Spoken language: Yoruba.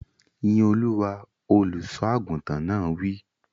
Yín Olúwa! Olùsọ àgùntàn náà wí.